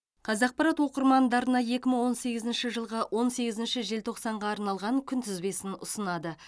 қазақпарат оқырмандарына екі мың он сегізінші жылғы он сегізінші желтоқсанға арналған күнтізбесін ұсынады